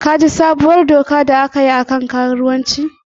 Ka ji sabuwar dokar da aka yi ta karuwanci?